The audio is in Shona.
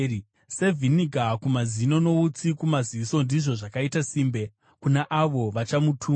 Sevhiniga kumazino noutsi kumaziso, ndizvo zvakaita simbe kuna avo vachamutuma.